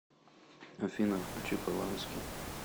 афина включи полански